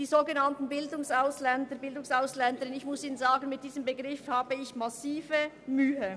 Mit dem Begriff «Bildungsausländer und Bildungsausländerinnen» habe ich grosse Mühe.